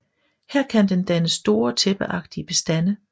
Her kan den danne store tæppeagtige bestande